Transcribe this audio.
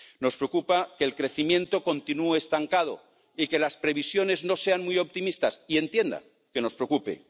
Nos preocupa que el crecimiento continúe estancado y que las previsiones no sean muy optimistas, y entienda que nos preocupe.